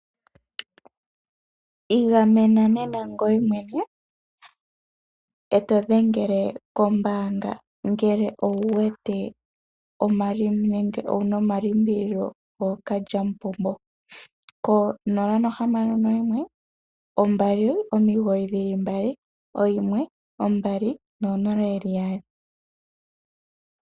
Igamena nena ngoye mwene ee to dhengele mwene kombanga ngele owuwete nenge wuna omalimbililo lyookalyamupombo konomola yongodhi yo0612991200.